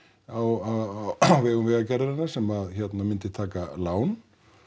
á vegum vegargerðarinnar sem myndi taka lán